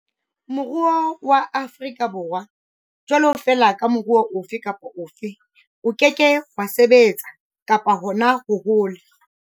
Moruo wa Afri ka Borwa, jwalo fela ka moruo ofe kapa ofe, o ke ke wa sebetsa, kapa hona ho hola,